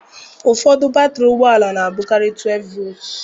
Ụfọdụ batrị ụgbọ ala na-abụkarị 12 volts.